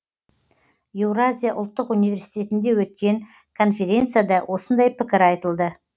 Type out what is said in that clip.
еуразия ұлттық университетінде өткен конференцияда осындай пікір айтылды